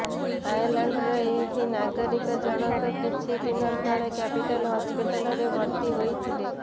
ଆୟାର୍ଲାଣ୍ଡର ଏହି ନାଗରିକଜଣଙ୍କ କିଛି ଦିନ ତଳେ କ୍ୟାପିଟାଲ ହସ୍ପିଟାଲରେ ଭର୍ତ୍ତି ହୋଇଥିଲେ